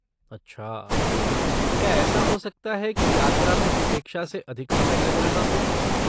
अच्छा, क्या ऐसा हो सकता है कि यात्रा में अपेक्षा से अधिक समय लग रहा हो?